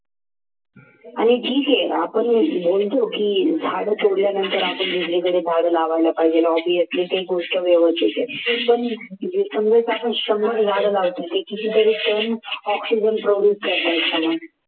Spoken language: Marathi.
आणि ठीक आहे आपण म्हणतो की झाडं तोडल्यानंतर आपण दुसरीकडे झाड लावायला पाहिजे आणि ती गोष्ट शंभर झाड लावतो ते कितीतरी पण oxygenproduce करत असतात